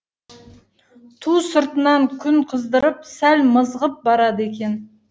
ту сыртынан күн қыздырып сәл мызғып барады екен